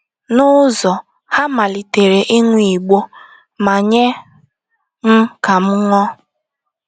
N’ụzọ, ha malitere ịṅụ igbo ma nye m ka m ṅụọ.